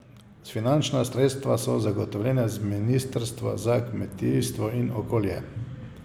Finančna sredstva so zagotovljena z ministrstva za kmetijstvo in okolje.